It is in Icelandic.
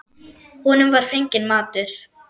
Honum var fenginn matur.